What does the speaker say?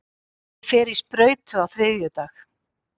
Ég fer í sprautu á þriðjudag.